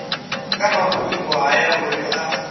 kha mafhungo haya uri a